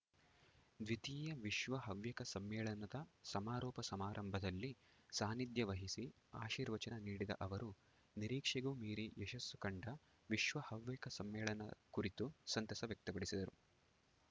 ದ್ವಿತೀಯ ವಿಶ್ವ ಹವ್ಯಕ ಸಮ್ಮೇಳನದ ಸಮಾರೋಪ ಸಮಾರಂಭದಲ್ಲಿ ಸಾನ್ನಿಧ್ಯವಹಿಸಿ ಆಶೀರ್ವಚನ ನೀಡಿದ ಅವರು ನಿರೀಕ್ಷೆಗೂ ಮೀರಿ ಯಶಸ್ಸು ಕಂಡ ವಿಶ್ವ ಹವ್ಯಕ ಸಮ್ಮೇಳನ ಕುರಿತು ಸಂತಸ ವ್ಯಕ್ತಪಡಿಸಿದರು